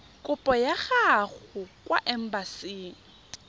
kopo ya gago kwa embasing